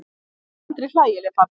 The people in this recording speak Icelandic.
Ég er aldrei hlægileg pabbi.